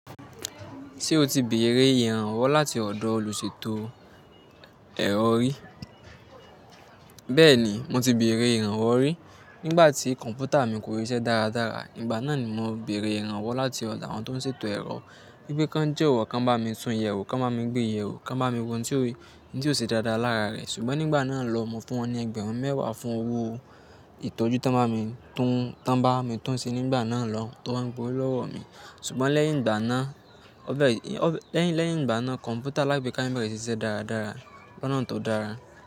Ṣé o ti bèrè ìrànwọ́ láti ọ̀dọ̀ olùṣètò ẹ̀rọ rí? Bẹ́ẹ̀ni, mo ti bèrè ìrànwọ́ rí. Nígbà tí kọ̀m̀pútà mi kó síṣẹ́ dáradára, ìgbà náà ni mo bèrè ìrànwọ́ láti ọ̀dọ̀ àwọn tó ń ṣètò ẹ̀rọ wípé kan jowọ́, kan bá mi tún yèwo, kan bá mi gbée yèwo, kan bá mi wo ohun ti ó ṣe dáadáa lára rẹ̀. Ṣùgbọ́n nígbà náà lọhun, mo fún wọn ní ẹgbẹ̀rún mẹ́wàá fún owó ìtọ́jú tan bá mi tún, tan bami tun ṣe nígbà náà lọhun, tí wọ́n gbowo lọ́wọ́ mi. Ṣùgbọ́n lẹ́yìn ìgbà náà leyin igba naa, kọ̀m̀pútà alagbeka mi bẹ́rẹ́ ṣi i siṣẹ́ dáradára. Ìgbà náà tó dára.